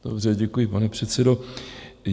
Dobře, děkuji, pane předsedo.